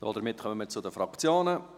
Damit kommen wir zu den Fraktionen.